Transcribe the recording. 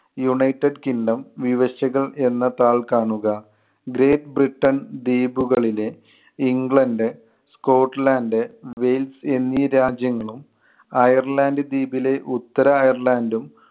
united kingdom വിവക്ഷകൾ എന്ന താൾ കാണുക. ഗ്രേറ്റ് ബ്രിട്ടൻ ദ്വീപുകളിലെ ഇംഗ്ലണ്ട്, സ്കോട്ട്ലാൻഡ്, വെയിൽസ് എന്നീ രാജ്യങ്ങളും അയർലൻഡ് ദ്വീപിലെ ഉത്തര അയർലൻഡും